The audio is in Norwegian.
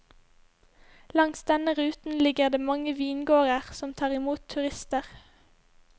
Langs denne ruten ligger det mange vingårder som tar imot turister.